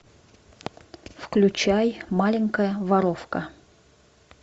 включай маленькая воровка